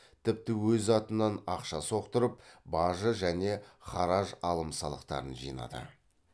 тіпті өз атынан ақша соқтырып бажы және хараж алым салықтарын жинады